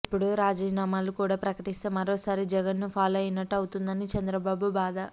ఇప్పుడు రాజీనామాలు కూడా ప్రకటిస్తే మరోసారి జగన్ ను ఫాలో అయినట్టు అవుతుందని చంద్రబాబు బాధ